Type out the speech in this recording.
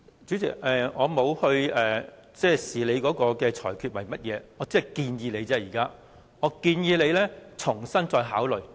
主席，我沒有對你的裁決作出評論，我只是建議你再重新考慮。